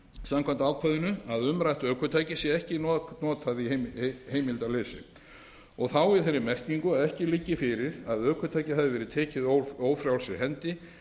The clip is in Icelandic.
samkvæmt ákvæðinu að umrætt ökutæki sé ekki notað í heimildarleysi og þá í þeirri merkingu að ekki liggi fyrir að ökutækið hafi verið tekið ófrjálsri hendi